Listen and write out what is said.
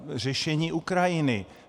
Řešení Ukrajiny.